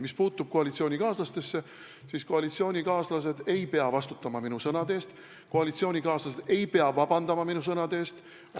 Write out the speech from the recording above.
Mis puutub minu koalitsioonikaaslastesse, siis koalitsioonikaaslased ei pea minu sõnade eest vastutama, koalitsioonikaaslased ei pea minu sõnade eest vabandust paluma.